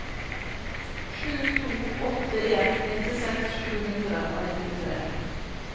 sju to åtte en nittiseks sju hundre og nittitre